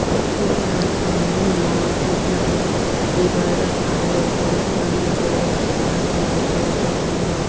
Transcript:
ऐकरा सामने म दू ठन टेबल रखाए हे ओकर ऊपर मे जग रखाए हे अउ बगल म--